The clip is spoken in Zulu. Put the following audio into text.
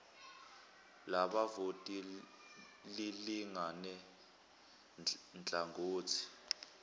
labavoti lilingane nhlangothi